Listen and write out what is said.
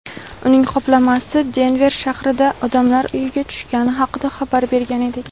uning qoplamasi Denver shahrida odamlar uyiga tushgani haqida xabar bergan edik.